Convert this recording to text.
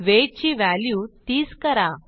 weight ची value 30 करा